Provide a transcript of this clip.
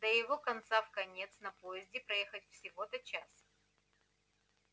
да его из конца в конец на поезде проехать всего-то час